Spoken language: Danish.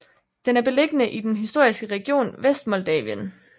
Den er beliggende i den historiske region Vestmoldavien